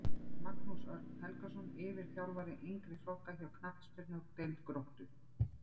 Magnús Örn Helgason yfirþjálfari yngri flokka hjá knattspyrnudeild Gróttu